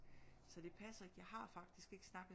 Så det passer ikke jeg har faktisk ikke snakket